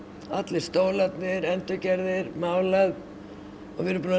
allir stólarnir endurgerðir og við erum búin að